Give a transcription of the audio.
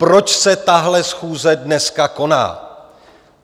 Proč se tahle schůze dneska koná?